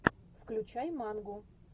включай манго